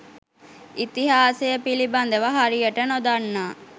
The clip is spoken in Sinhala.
ඉතිහාසය පිළිබඳව හරියට නොදන්නා